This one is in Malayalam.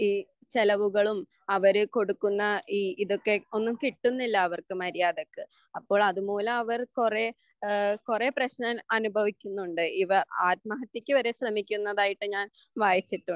ഈ ചെലവുകളും അവര് കൊടുക്കുന്ന ഈ ഇതൊക്കെ ഒന്നും കിട്ടുന്നില്ല അവർക്ക് മര്യാദക്ക് അപ്പോൾ അതുമൂലം അവർ കുറെ കുറെ പ്രശനം അനുഭവിക്കുന്നുണ്ട് ഇവർ ആത്മഹ്യത്യക്കുവരെ ശ്രെമിക്കുന്നതായിട്ട് ഞാൻ വായിച്ചിട്ടുണ്ട്